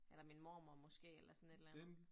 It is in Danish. Eller min mormor måske eller sådan et eller andet